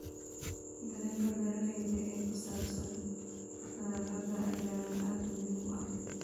Dareenka beeralayda ee ku saabsan nadaafadda ayaa aad muhiim u ah.